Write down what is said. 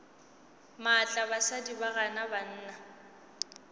maatla basadi ba gana banna